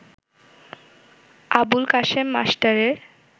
আবুল কাশেম মাস্টারের